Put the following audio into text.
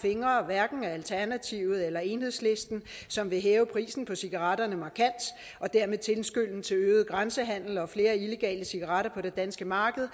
fingre hverken af alternativet eller enhedslisten som vil hæve prisen på cigaretterne markant og dermed tilskynde til øget grænsehandel og flere illegale cigaretter på det danske marked